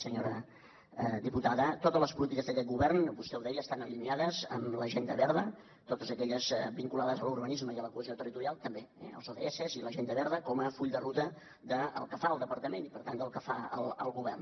senyora diputada totes les polítiques d’aquest govern vostè ho deia estan alineades amb l’agenda verda totes aquelles vinculades a l’urbanisme i a la cohesió territorial també eh els ods i l’agenda verda com a full de ruta del que fa el departament i per tant del que fa el govern